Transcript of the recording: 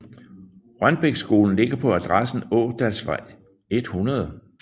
Rønbækskolen ligger på adressen Ådalsvej 100